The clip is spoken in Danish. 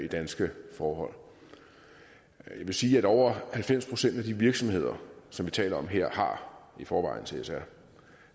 danske forhold jeg vil sige at over halvfems procent af de virksomheder som vi taler om her har i forvejen csr